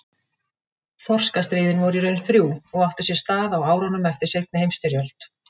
Þorskastríðin voru í raun þrjú og áttu sér stað á árunum eftir seinni heimsstyrjöld.